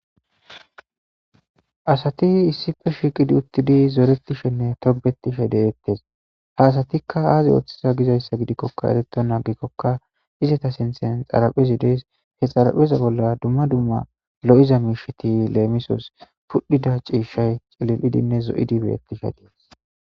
Asati issippe shiqqi uttidi zorretishene tobbetishe dettes ha assatika azzi oththizo giizayssa giidikoka erretona aggikoka iizetta sinththen xaraphphezi dessi he xarapheza bolla dumma dumma loiza mishshati lemissos pudhdhida cishshay ciililidinne zooidi bettishe....